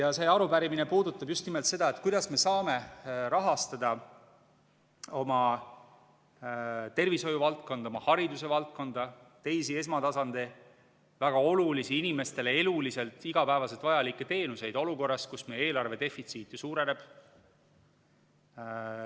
Ja see arupärimine puudutab just nimelt seda, kuidas me saame rahastada oma tervishoiuvaldkonda, oma haridusvaldkonda, teisi esmatasandi väga olulisi, inimestele eluliselt igapäevaselt vajalikke teenuseid olukorras, kus meie eelarve defitsiit ju suureneb.